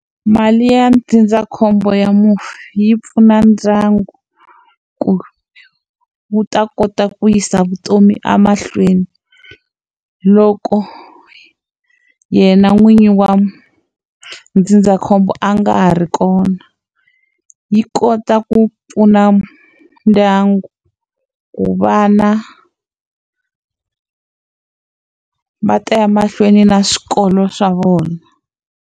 Mali ya ndzindzakhombo ya mufi yi pfuna ndyangu ku wu ta kota ku yisa vutomi emahlweni loko yena n'wini wa ndzindzakhombo a nga ha ri kona yi kota ku pfuna ndyangu ku vana va ta ya mahlweni na swikolo swa vona.